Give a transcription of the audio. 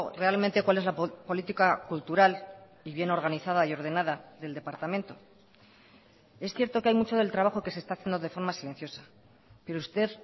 realmente cuál es la política cultural y bien organizada y ordenada del departamento es cierto que hay mucho del trabajo que se está haciendo de forma silenciosa pero usted